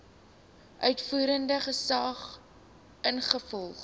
uitvoerende gesag ingevolge